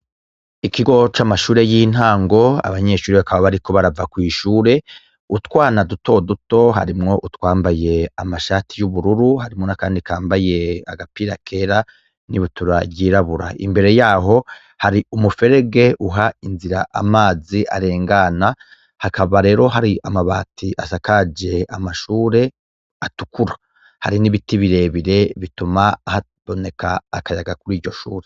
Ikigo c'amashure y'intango, abanyeshure bakaba bariko barava kw'ishure, utwana duto duto harimwo utwambaye amashati y'ubururu harimwo n'akandi kambaye agapira kera n'ibutura ryirabura, imbere yaho hari umuferege uha inzira amazi arengana, hakaba rero hari amabati asakaje amashure atukura, hari n'ibiti birebire bituma haboneka akayaga kuri iryo shure.